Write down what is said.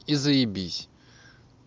и заебись